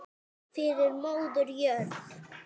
Fyrir móður jörð.